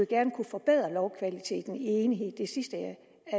gerne kunne forbedre lovkvaliteten i enighed i